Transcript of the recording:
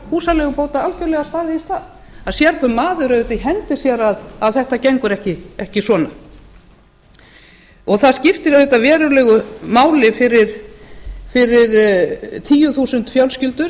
húsaleigubóta algjörlega staðið í stað það sér hver maður auðvitað í hendi sér að þetta gengur ekki svona það skiptir auðvitað verulegu máli fyrir tæplega tíu þúsund fjölskyldur